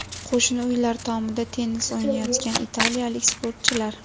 Qo‘shni uylar tomida tennis o‘ynayotgan italiyalik sportchilar.